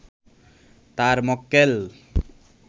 তার মক্কেল